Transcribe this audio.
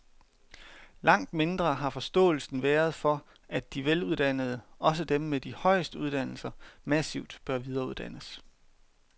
Langt mindre har forståelsen været for, at de veluddannede, også dem med de højeste uddannelser, massivt bør videreuddannes.